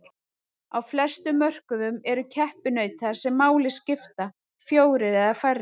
Á flestum mörkuðum eru keppinautar sem máli skipta fjórir eða færri.